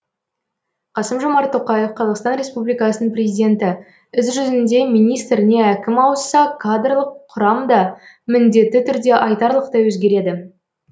қасым жомарт тоқаев қазақстан республикасының президенті іс жүзінде министр не әкім ауысса кадрлық құрам да міндетті түрде айтарлықтай өзгереді